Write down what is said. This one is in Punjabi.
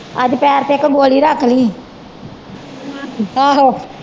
ਅੱਜ ਪੈਰ ਤੇ ਇਕ ਗੋਲੀ ਰਖਲੀ ਆਹੋ